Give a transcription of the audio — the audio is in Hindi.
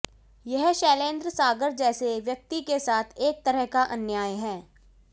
यह शैलेंद्र सागर जैसे व्यक्ति के साथ एक तरह का अन्याय है